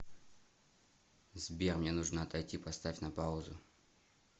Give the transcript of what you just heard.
сбер мне нужно отойти поставь на паузу